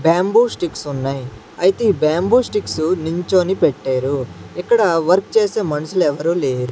bamboo sticks ఉన్నాయి అయితే ఈ బాంబు స్టిక్స్ నిల్చోని పెట్టారు ఇక్కడ వర్క్ చేసే మనుషులు ఎవ్వరు లేర్--